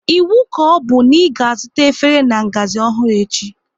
Iwu ka ọbụ na ị ga azụta efere na-ngazi ọhụrụ echi